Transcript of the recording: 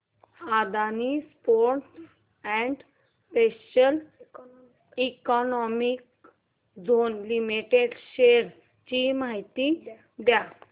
Adani ports and special economic zone limited shares ची माहिती द्या